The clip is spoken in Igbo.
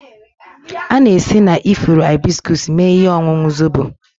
A na-esi na ifuru hibiscus mee ihe ọṅụṅụ zobo